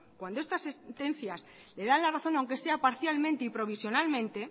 cuando estas sentencias le dan la razón aunque sea parcialmente y provisionalmente